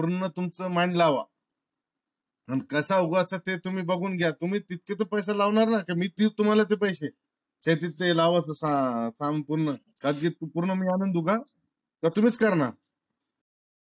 पूर्ण तुमच मन लावा. कसा उगवाय च ते तुम्ही बगून घ्या. तुम्ही तुमचे पैसे लावा का मी देऊ तुम्हा ला ते पैसे? तेच्या ते लाव्या चे समान पूर्ण मी मी आणून देऊ का? अगदी पूर्ण मी आणून देऊ का? का तुम्हीच कर अनर?